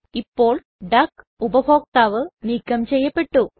ഇപ്പോൾ ഡക്ക് ഉപഭോക്താവ് നീക്കം ചെയ്യപെട്ടു